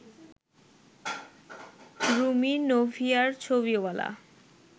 রুমি নোভিয়ার ছবিওয়ালা